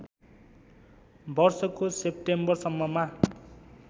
वर्षको सेप्टेम्बरसम्ममा